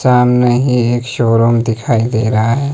सामने ही एक शो रूम दिखाई दे रहा है।